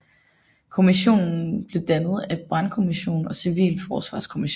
Kommissionen blev dannet af brandkommission og civilforsvarskommission